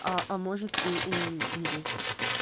а а может и уумереть